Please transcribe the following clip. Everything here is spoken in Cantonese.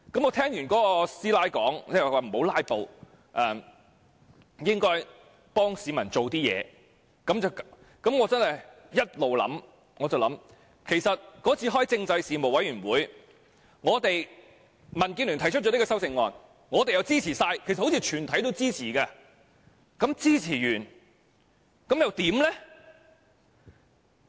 我聽完那大嬸說不要"拉布"，應該為市民做點事後，我一直在想，其實那次民建聯在政制事務委員會提出這項修正案，我們全部支持，印象中全體委員均支持，但支持後又如何？